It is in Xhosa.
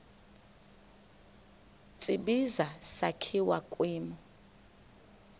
tsibizi sakhiwa kwimo